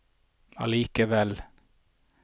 allikevel